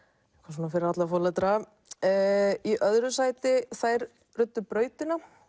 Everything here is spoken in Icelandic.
svona fyrir alla foreldra í öðru sæti þær ruddu brautina